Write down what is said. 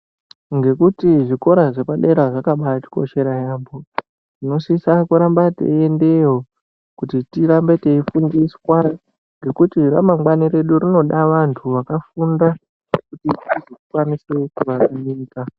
Ngekuti zvikora zvepadera zvakabaatikoshera yaampho tinosisa kuramba teyiendeyo kuti tirambe teifundiswa ngekuti ramangwani redu rinoda vanhu wakafunda kuti tikwanise kuti tizokwanise kubatsirika.